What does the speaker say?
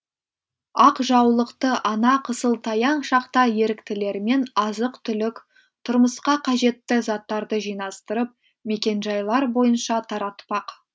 ақ жаулықты ана қысылтаяң шақта еріктілермен азық түлік тұрмысқа қажетті заттарды жинастырып мекенжайлар бойынша таратпақ